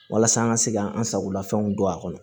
Walasa an ka se k'an sagolafɛnw don a kɔnɔ